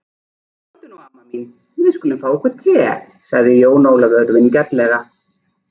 Komdu nú amma mín, við skulum fá okkur te, sagði Jón Ólafur vingjarnlega.